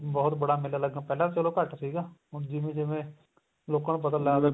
ਬਹੁਤ ਬੜਾ ਮੇਲਾ ਲੱਗਦਾ ਪਹਿਲਾਂ ਤਾਂ ਚਲੋ ਘੱਟ ਸੀਗਾ ਹੁਣ ਜਿਵੇਂ ਜਿਵੇਂ ਲੋਕਾ ਨੂੰ ਪਤਾ ਲੱਗਦਾ